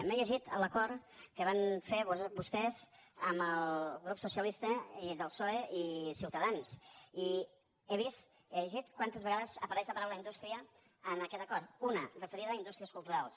m’he llegit l’acord que van fer vostès amb el grup socialista del psoe i ciutadans i he vist he llegit quantes vegades apareix la paraula indústria en aquest acord una referida a indústries culturals